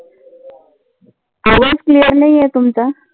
आवाज clear नाही आहे तुमचा.